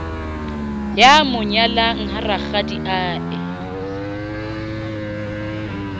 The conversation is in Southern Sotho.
ya mo nyalang ha rakgadiae